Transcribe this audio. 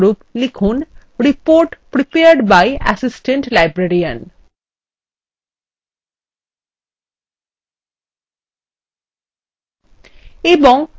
উদাহরণস্বরূপ লিখুন report prepared by assistant librarian